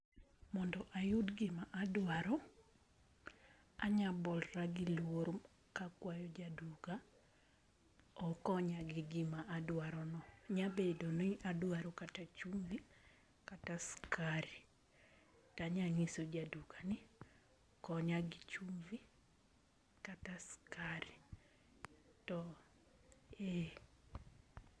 Mondo a yud gima a dwaro anyalo bolora gi lworo ka akwayo ja duka okonya gi gima adwaro no nya bedo ni adwaro kata chumbi, kata skari to anyangiso ja duka ni konya gi chumbi kata skari to eh.